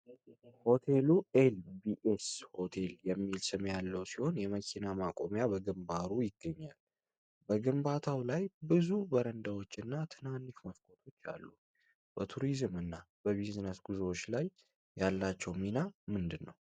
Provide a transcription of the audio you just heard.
ሆቴሉ "ኤል ቢ ኤስ ሆቴል" የሚል ስም ያለው ሲሆን፤ የመኪና ማቆሚያ በግንባሩ ይገኛል። በግንባታው ላይ ብዙ በረንዳዎችና ትናንሽ መስኮቶች አሉ። በቱሪዝም እና በቢዝነስ ጉዞዎች ላይ ያላቸው ሚና ምንድነው?